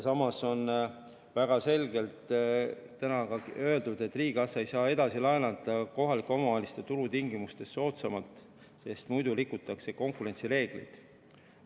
Samas on väga selgelt ka öeldud, et riigikassa ei saa edasi laenata kohalikele omavalitsustele tulutingimustest soodsamalt, sest muidu rikutakse konkurentsireegleid.